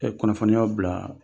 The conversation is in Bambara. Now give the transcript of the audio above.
kunnafoniyaw bila